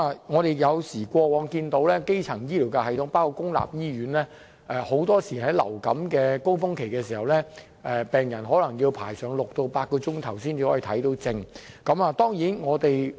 我們看到過往的基層醫療系統，包括公立醫院，很多時在流感高峰期的時候，病人要等候6小時至8小時才可以看病。